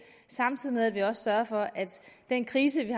samtidig også sørger for at den krise vi